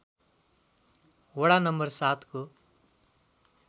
वडा नम्बर ७ को